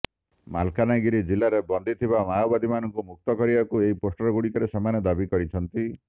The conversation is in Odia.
ମାଲକାନଗିରି ଜିଲ୍ଲାରେ ବନ୍ଦୀ ଥିବା ମାଓବାଦୀମାନଙ୍କୁ ମୁକ୍ତ କରିବାକୁ ଏହି ପୋଷ୍ଟରଗୁଡ଼ିକରେ ସେମାନେ ଦାବି କରିଛନ୍ତି